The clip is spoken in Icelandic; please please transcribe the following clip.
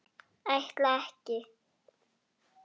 Ætla ekki.